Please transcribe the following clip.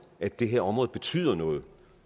at det her område betyder noget